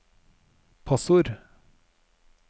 passord